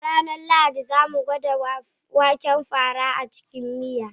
A ranar Lahadi, za mu gwada waken fara a cikin miya.